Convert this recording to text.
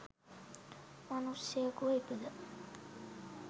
මනුෂ්‍යයකු ව ඉපිද